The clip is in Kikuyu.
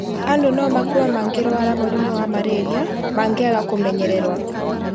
andũ no makue mangĩrwara mũrimũ wa mararia mangĩaga kũĩmenyerera